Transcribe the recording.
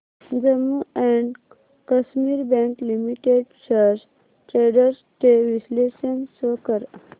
Jammu and Kashmir bank limited shares trends चे विश्लेषण show कर